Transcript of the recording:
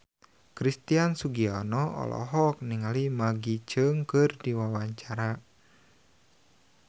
Christian Sugiono olohok ningali Maggie Cheung keur diwawancara